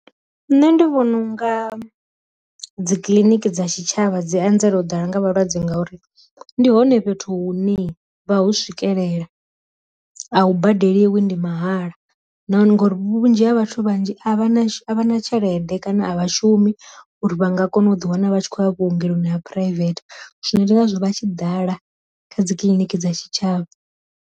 Nṋe ndi vhona unga dzi kiḽiniki dza tshi tshavha dzi anzela u ḓala nga vhalwadze ngauri ndi hone fhethu hune ha vha hu swikelela, a hu badeliwe ndi mahala nahone ngori vhunzhi ha vhathu vhanzhi a vha a vha na tshelede kana a vha shumi uri vha nga kona u ḓi wana vha tshi khou ya vhuongeloni ha private, zwino ndi ngazwo vha tshi ḓala kha dzi kiḽiniki dza tshi tshavha.